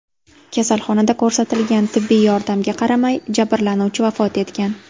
Kasalxonada ko‘rsatilgan tibbiy yordamga qaramay, jabrlanuvchi vafot etgan.